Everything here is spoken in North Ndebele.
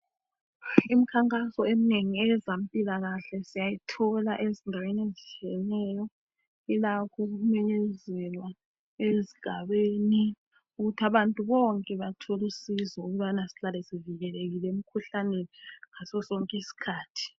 Imikhankaso eminengi eyezempilakahle siyayithola ezindaweni ezitshiyeneyo. llakho ukumenyezelwa ezigabeni ukuthi abantu bonke batholusizo ukubana sihlale sivikelekile emikhuhlaneni ngasosonke isikhathi